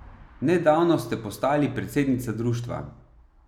Nedavno ste postali predsednica društva.